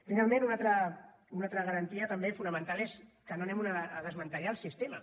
finalment una altra garantia també fonamental és que no anem a desmantellar el sistema